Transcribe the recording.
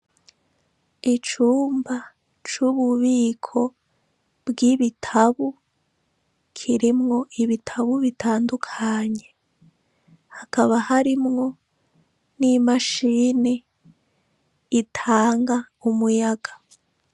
Icumba c'ububiko bw'ibitabu kirimwo ibitabu bitandukanye. Hakaba harimwo n'i mashini itanga umuyaga.